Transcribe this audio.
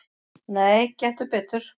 """Nei, gettu betur"""